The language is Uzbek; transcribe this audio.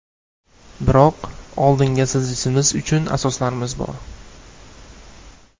Biroq oldinga siljishimiz uchun asoslarimiz bor.